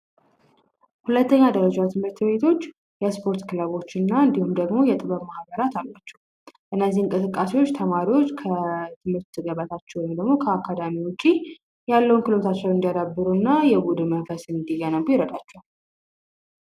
የስፖርት ክለቦችና እንዲሁም ደግሞ የጥበብ ማህበራት አላቸው ተማሪዎች ከትገባቸው እንዲያዳበሩ እና የቡድኑ መንፈስ እንድገነቡ ይረዳቸዋል